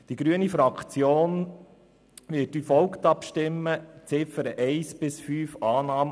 Die grüne Fraktion wird die Ziffern 1 bis 5 als Motion annehmen.